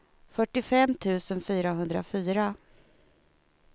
fyrtiofem tusen fyrahundrafyra